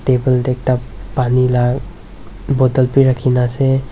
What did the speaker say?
table te ekta pani la bottle bhi rakhina ase.